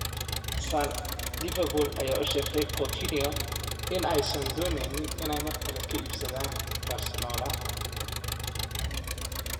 (Sun) Liverpool ayaa u sheegtay Coutinho inaysan dooneynin inay mar kale ka iibsadaan Barcelona.